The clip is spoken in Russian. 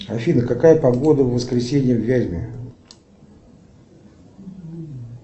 афина какая погода в воскресенье в вязьме